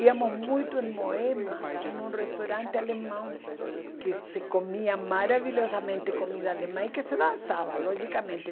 Íamos muito em Moema, em um restaurante alemão, que se comia maravilhosamente comida alemã e que se dançava, logicamente.